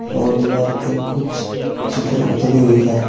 और दीवार पर कुछ चित्र उतरी हुई है।